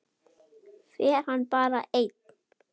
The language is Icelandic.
Fer hann bara einn?